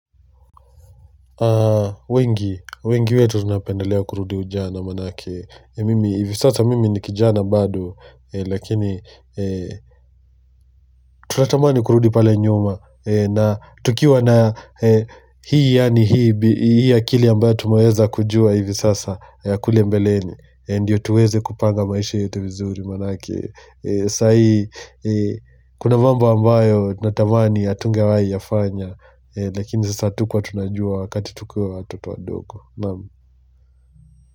Wengi, wengi wetu tunapendelea kurudi ujana manake Mimi, hivi sasa mimi ni kijana bado. Lakini, tunatamani kurudi pale nyuma. Na tukiwa na hii yaani hii akili ambayo tumeweza kujua hivi sasa kule mbeleni, ndiyo tuweze kupanga maisha yetu vizuri manake sahii, kuna mambo ambayo natamani hatungewahi yafanya. Lakini sasa hatukuwa tunajua wakati tukiwa watoto wadogo Nam.